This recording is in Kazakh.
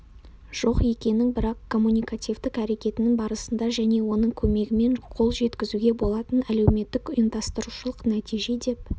жоқ екенін бірақ коммуникативтік әрекетінің барысында және оның көмегімен қол жеткізуге болатын әлеуметтік-ұйымдастырушылық нәтиже деп